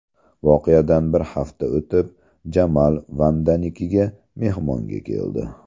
Voqeadan bir hafta o‘tib, Jamal Vandanikiga mehmonga keldi.